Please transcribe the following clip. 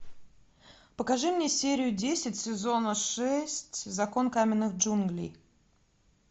покажи мне серию десять сезона шесть закон каменных джунглей